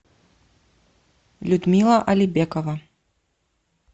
людмила алибекова